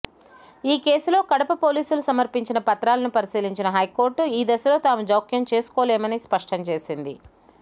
ఈ కేసులో కడప పోలీసులు సమర్పించిన పత్రాలను పరిశీలించిన హైకోర్టు ఈ దశలో తాము జోక్యం చేసుకోలేమని స్పష్టం చేసింది